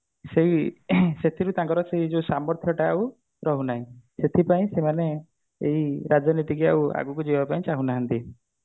ସେଇ ସେତିକି ତାଙ୍କର ସେଇ ଯୋଉ ସାମର୍ଥ୍ୟ ଟା ଆଉ ରହୁନାହିଁ ସେଠି ପାଇଁ ସେମାନେ ଏଇ ରାଜନୀତି କୁ ଆଉ ଆଗକୁ ଯିବାପାଇଁ ଚାହୁଁ ନାହାନ୍ତି